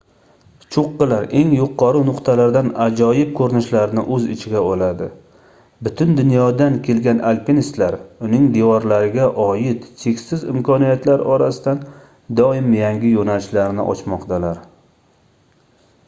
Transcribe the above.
choʻqqilar eng yuqori nuqtalardan ajoyib koʻrinishlarni oʻz ichiga oladi butun dunyodan kelgan alpinistlar uning devorlariga oid cheksiz imkoniyatlar orasidan doim yangi yoʻnalishlarni ochmoqdalar